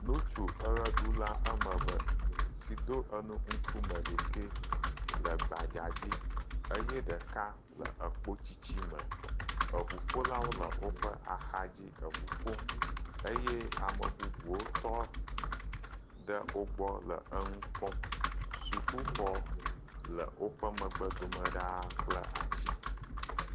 Ŋutsu eʋeɖula woame eve si do enu ŋkume ɖekee le gbadzadzi, eye ɖeka le ekpotiti me, eŋuƒolawo le woƒe axa dzi le ŋu ƒom, eye ame bubuwo tɔ ɖe wo gbɔ le nu kpɔm, sukuxɔ le woƒe megbe dome ɖaa kple ati.